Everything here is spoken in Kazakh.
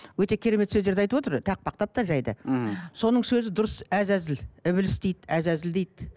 өте керемет сөздерді айтып отыр тақпақтап та жай да мхм соның сөзі дұрыс әз әзіл ібліс дейді әз әзіл дейді